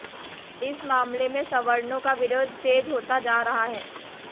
इस मामले में सवर्णों का विरोध तेज होता जा रहा है